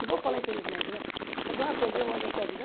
Não vou falar infelizmente, né porque ah perdeu um ano da minha vida.